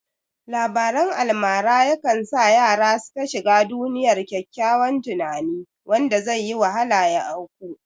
Labarin almara yakan sa yara su ta shiga duniyar ƙyaƙƙyawan tunani wanda zaiyi wahala ya auku